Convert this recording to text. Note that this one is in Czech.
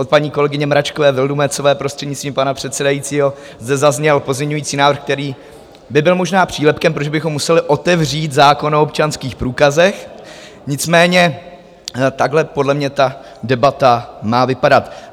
Od paní kolegyně Mračkové Vildumetzové, prostřednictvím pana předsedajícího, zde zazněl pozměňovací návrh, který by byl možná přílepkem, protože bychom museli otevřít zákon o občanských průkazech, nicméně takhle podle mě ta debata má vypadat.